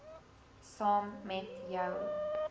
saam met jou